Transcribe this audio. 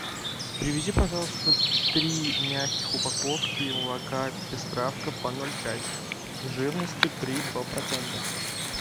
привези пожалуйста три мягких упаковки молока пестравка по ноль пять жирностью три и два процента